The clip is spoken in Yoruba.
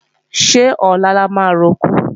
Ṣé ọ̀la la máa roko?